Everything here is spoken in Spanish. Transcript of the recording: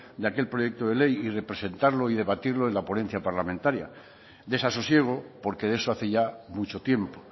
de aquel proyecto de ley y representarlo y debatirlo en la ponencia parlamentaria desasosiego porque de eso hace ya mucho tiempo